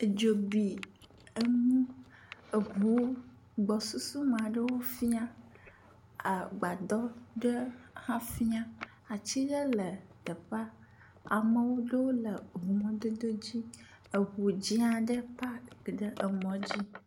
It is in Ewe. Dzo bi eŋu eŋuwo gbɔsusu me aɖewo fia. Agbadɔ ɖe hã fia atsi ɖe le teƒea. Ame aɖewo le ŋumɔdodo dzi. Eŋu aɖe hã paki ɖe emɔ dzi.